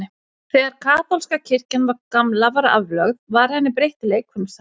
Þegar kaþólska kirkjan gamla var aflögð, var henni breytt í leikfimisal.